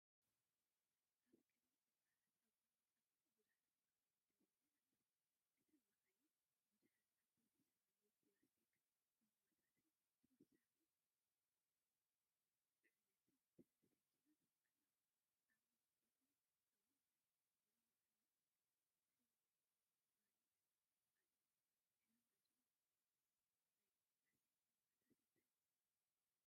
ኣብ ቅድሚ ህንጻታት ኣብ ጎኒ ጽርግያ ብዙሓት መካይን ደው ኢለን ኣለዋ። እተን መካይን ብዙሓት ዓበይቲ ሰማያዊ ፕላስቲክ ጎማታትን ተወሳኺ ጽዕነትን ተሰኪመን ኣለዋ። ኣብ መስኮቶም እውን ናይ መወዓውዒ ፓነላት ኣሎ። ዕላማ እዞም ናይ ፕላስቲክ ጎማታት እንታይ እዩ?